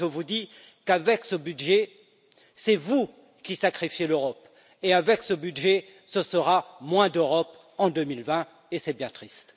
Alors je vous dis qu'avec ce budget, c'est vous qui sacrifiez l'Europe et, avec ce budget, ce sera moins d'Europe en 2020 et c'est bien triste.